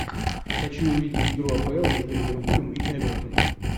хочу увидеть игру апл между ливерпулем и эвертоном